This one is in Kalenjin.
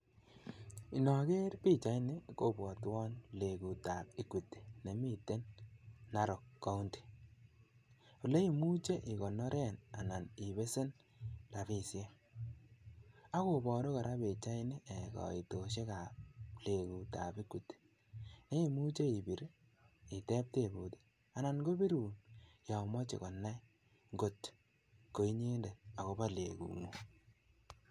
Inoger pichaini kobwatwon lengut tab Equity nemi Narok County, oleimuchi igonoren anan ibesen rabisiek ak kobaru kora pichaini kaitosiekab lengutab Equity neimuchi ibir iteb tebut anan kobirun komoche konai ngotkoinyendet agoba lengungung.